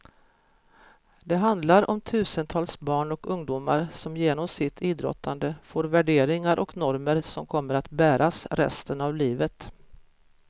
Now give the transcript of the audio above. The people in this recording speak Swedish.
Det handlar om tusentals barn och ungdomar som genom sitt idrottande får värderingar och normer som kommer att bäras resten av livet.